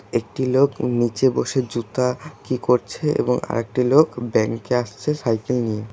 একটি লোক নীচে বসে জুতা কি করছে এবং আরেকটি লোক ব্যাংকে আসছে সাইকেল নিয়ে।